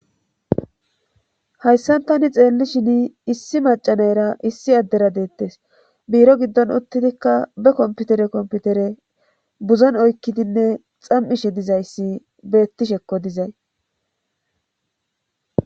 Hayssan tani xeelli shin issi macanayra issi addera deettes biiro giddon uttidikka be komputere komputere buzon oykkidinne xam7ishe dizayssi beettishekko dizay.